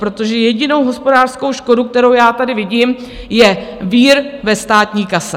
Protože jediná hospodářská škoda, kterou já tady vidím, je vír ve státní kase.